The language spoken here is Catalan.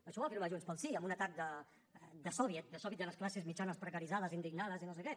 això ho ha firmat junts pel sí en un atac de soviet de soviet de les classes mitjanes precaritzades indignades i no sé què